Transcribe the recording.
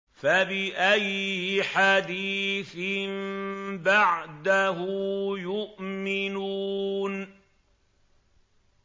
فَبِأَيِّ حَدِيثٍ بَعْدَهُ يُؤْمِنُونَ